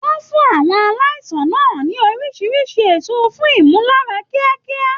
Wọn fún àwọn aláìsàn náà ní oríṣi èso fún ìmúláradá kíákíá.